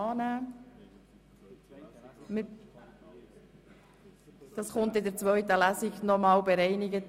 – Dies wird für die zweite Lesung bereinigt.